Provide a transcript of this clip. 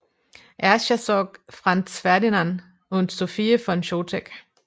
Erzherzog Franz Ferdinand und Sophie von Chotek